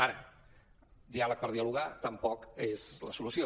ara diàleg per dialogar tampoc és la solució